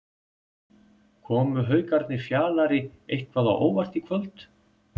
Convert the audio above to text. Komu Haukarnir Fjalari eitthvað á óvart í kvöld?